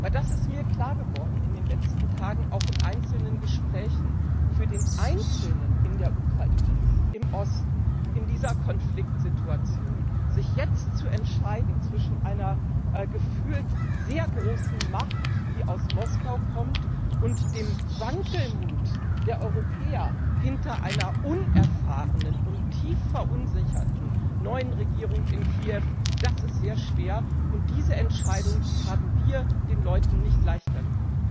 Denn mir ist in den letzten Tagen auch in einzelnen Gesprächen klar geworden Für den Einzelnen in der Ukraine, im Osten, in dieser Konfliktsituation sich jetzt zu entscheiden zwischen einer gefühlt sehr großen Macht, die aus Moskau kommt, und dem Wankelmut der Europäer hinter einer unerfahrenen und tief verunsicherten neuen Regierung in Kiew, das ist sehr schwer, und diese Entscheidung haben wir den Leuten nicht leichter gemacht.